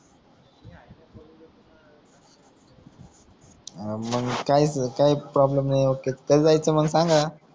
अं मंग काय काई प्रॉब्लेम नाई ओके कधी जायचं मंग सांगा